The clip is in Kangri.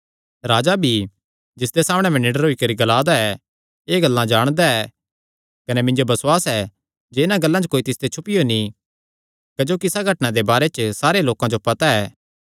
राजा भी जिसदे सामणै मैं निडर होई करी ग्ला दा ऐ एह़ गल्लां जाणदा ऐ कने मिन्जो बसुआस ऐ जे इन्हां गल्लां च कोई तिसते छुपियो नीं क्जोकि इसा घटनां दे बारे च सारे लोकां जो पता ऐ